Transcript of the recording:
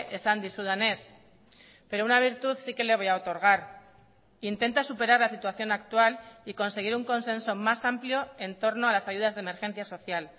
esan dizudanez pero una virtud sí que le voy a otorgar intenta superar la situación actual y conseguir un consenso más amplio en torno a las ayudas de emergencia social